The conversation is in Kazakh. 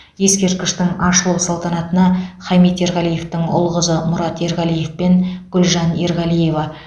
ескерткіштің ашылу салтанатына хамит ерғалиевтің ұл қызы мұрат ерғалиев пен гүлжан ерғалиева